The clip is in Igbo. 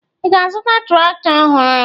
Ị ga-azụta traktọ ọhụrụ?